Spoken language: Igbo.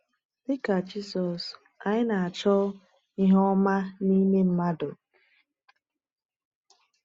Dị ka Jisọs, anyị na-achọ ihe ọma n’ime mmadụ.